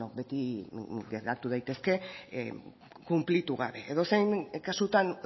beti geratu daitezke kunplitu bat edozein kasutan